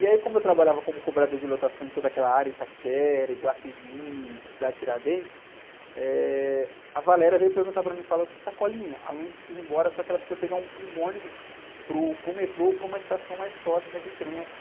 E aí como eu trabalhava como cobrador de lotação em toda aquela área, Itaquera, Iguatemi, Cidade Tiradentes, eh, a veio perguntar para mim, falou assim, Sacolinha, a precisa ir embora, só que ela precisa pegar um, um ônibus para o, para o metrô ou para uma estação mais próxima de trem aqui.